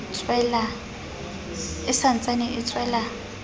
e sa ntsane e tswela